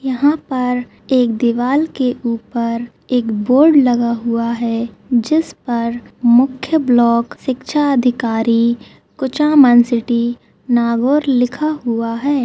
यहाँ पर एक दीवाल के ऊपर एक बोर्ड लगा हुआ है जिस पर मुख्य ब्लॉक शिक्षा अधिकारी कुछामन सिटी नागौर लिखा हुआ है।